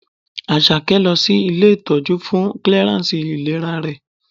Àṣàkẹ́ lọ sí ilé ìtọ́jú fún clearance ìlera rẹ̀.